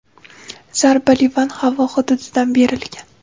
zarba Livan havo hududidan berilgan.